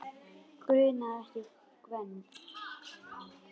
Grunaði ekki Gvend.